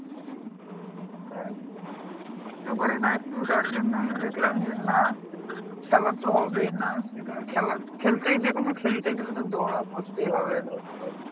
সেটাই দৌড়তে পারি না একটু তার জন্যই দেখলাম যে না খেলা তো হবেই না। সেটাই খেলা খেলতেই যেকোনো খেলতে গেলে তো দৌড় করতেই হবে ধর তোর